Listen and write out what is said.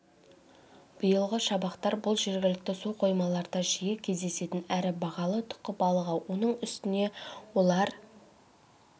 биылғы шабақтар бұл жергілікті су қоймаларда жиі кездесетін әрі бағалы тұқы балығы оның үстіне олар